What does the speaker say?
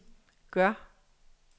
gør